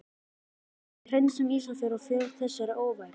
Við hreinsum Ísafjörð af þessari óværu!